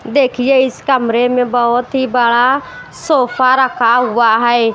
देखिए इस कमरे में बहुत ही बड़ा सोफा रखा हुआ है।